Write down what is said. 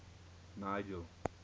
nigel